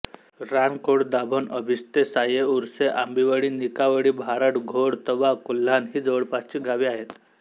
रानकोळदाभोण आंबिस्ते साये उरसे आंबिवळी निकावळी भारड घोळ तवा कोल्हाण ही जवळपासची गावे आहेत